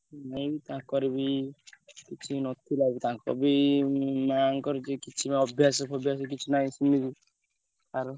ନାଇଁ ତାଙ୍କର ବି କିଛି ନଥିଲା ତାଙ୍କ ବି ମାଆ ଙ୍କ ବି ଅଭ୍ୟାସ ଫଭ୍ୟାସ କିଛି ନାହିଁ ସିଏ ବି ଆର।